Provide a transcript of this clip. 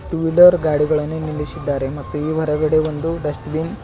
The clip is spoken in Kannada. ಟೂ ವೀಲರ್ ಗಾಡಿಗಳನ್ನು ನಿಲ್ಲಿಸಿದ್ದಾರೆ ಮತ್ತು ಈ ಹೊರಗಡೆ ಒಂದು ಡಸ್ಟ್ಬಿನ್ --